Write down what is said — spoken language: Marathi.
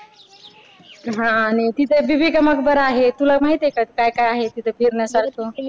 हा आणि एक तिथं बिबिका मकबरा आहे तुला माहितेय का तिथं काय काय आहे फिरण्यासारखं